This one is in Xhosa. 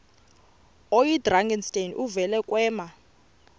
oyidrakenstein uvele kwema